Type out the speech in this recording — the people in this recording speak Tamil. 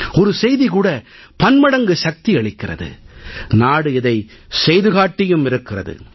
ஒரு செய்தி கூட பன்மடங்கு சக்தி அளிக்கிறது நாடு இதை செய்து காட்டியும் இருக்கிறது